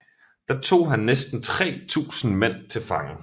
Der tog han næsten 3000 mænd til fange